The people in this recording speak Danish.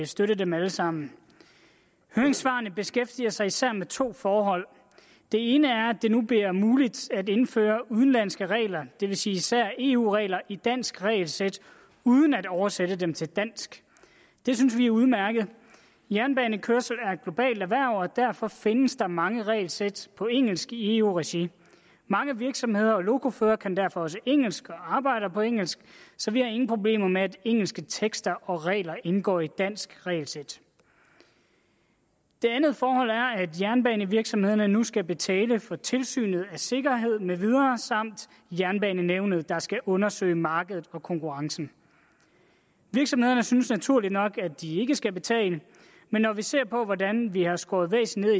støtte dem alle sammen høringssvarene beskæftiger sig især med to forhold det ene er at det nu bliver muligt at indføre udenlandske regler det vil sige især eu regler i et dansk regelsæt uden at oversætte dem til dansk det synes vi er udmærket jernbanekørsel er et globalt erhverv og derfor findes der mange regelsæt på engelsk i eu regi mange virksomheder og lokoførere kan derfor også engelsk og arbejder på engelsk så vi har ingen problemer med at engelske tekster og regler indgår i et dansk regelsæt det andet forhold er at jernbanevirksomhederne nu skal betale for tilsynet af sikkerhed med videre samt for jernbanenævnet der skal undersøge markedet for konkurrence virksomhederne synes naturligt nok at de ikke skal betale men når vi ser på hvordan vi har skåret væsentligt